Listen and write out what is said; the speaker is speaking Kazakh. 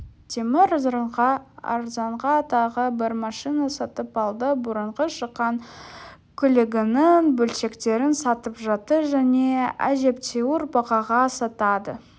темір арзанға тағы бір машина сатып алды бұрынғы шыққан көлігінің бөлшектерін сатып жатты және әжептәуір бағаға сатады